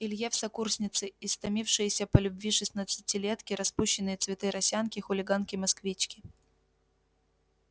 илье в сокурсницы истомившиеся по любви шестнадцатилетки распущенные цветы росянки хулиганки-москвички